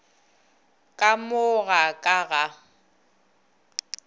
ka mo ga ka ga